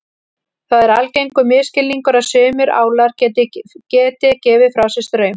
Það er algengur misskilningur að sumir álar geti gefið frá sér straum.